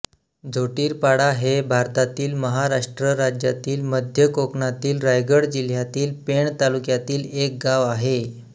झोटीरपाडा हे भारतातील महाराष्ट्र राज्यातील मध्य कोकणातील रायगड जिल्ह्यातील पेण तालुक्यातील एक गाव आहे